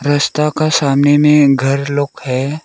रास्ता का सामने में घर लोग है।